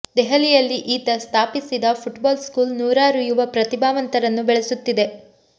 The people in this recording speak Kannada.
ದೆಹಲಿಯಲ್ಲಿ ಈತ ಸ್ಥಾಪಿಸಿದ ಫುಟ್ಬಾಲ್ ಸ್ಕೂಲ್ ನೂರಾರು ಯುವ ಪ್ರತಿಭಾವಂತರನ್ನು ಬೆಳೆಸುತ್ತಿದೆ